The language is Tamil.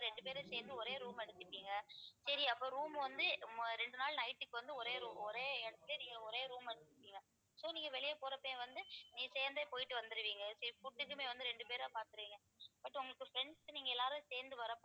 ரெண்டு பேரும் சேர்ந்து ஒரே room எடுத்துட்டீங்க சரி அப்போ room வந்து ம~ ரெண்டு நாள் night க்கு வந்து ஒரே room ஒரே இடத்துல நீங்க ஒரே room வந்துட்டீங்க so நீங்க வெளிய போறப்பயே வந்து நீங்க சேர்ந்தே போயிட்டு வந்துடுவீங்க சரி food க்குமே வந்து ரெண்டு பேரா பார்த்துடுவீங்க but உங்களுக்கு friends நீங்க எல்லாரும் சேர்ந்து வர்றப்போ